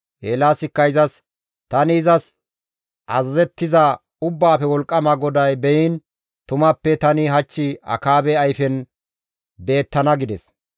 Eelaasikka izas, «Tani izas azazettiza Ubbaafe Wolqqama GODAY beyiin tumappe tani hach Akaabe ayfen beettana» gides.